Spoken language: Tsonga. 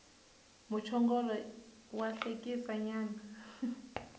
muchongolo wa hlekisa nyana